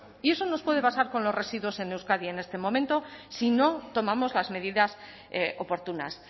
y eso nos puede pasar con los residuos en euskadi en este momento si no tomamos las medidas oportunas